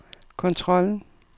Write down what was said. kontrollen